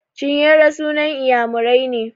Chinyere sunan Inyamurai ne.